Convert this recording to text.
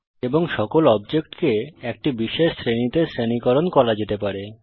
এবং সকল অবজেক্টকে একটি বিশেষ শ্রেণীতে শ্রেণীকরণ করা যেতে পারে